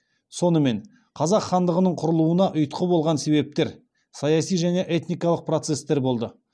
сонымен қазақ хандығының құрылуына ұйтқы болған себептер саяси және этникалық процестер болды